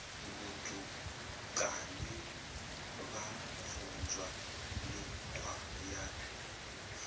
vhutukani vha funzwa mikhwa ya